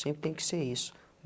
Sempre tem que ser isso.